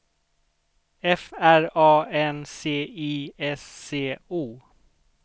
F R A N C I S C O